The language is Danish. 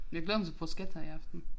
Jeg glæder mig til bruschetta i aften